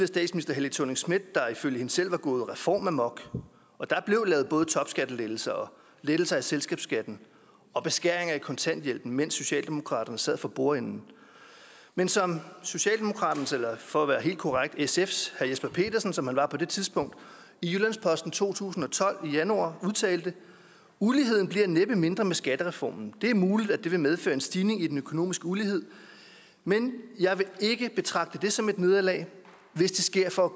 statsminister helle thorning schmidt der ifølge hende selv var gået reformamok og der blev lavet både topskattelettelser og lettelser af selskabsskat og beskæringer af kontanthjælpen mens socialdemokraterne sad for bordenden men som socialdemokraternes eller for at være helt korrekt sfs herre jesper petersen som han var på det tidspunkt i jyllands posten to tusind og tolv i januar udtalte uligheden bliver næppe mindre med skattereformen det er muligt at det vil medføre en stigning i den økonomiske ulighed men jeg vil ikke betragte det som et nederlag hvis det sker for at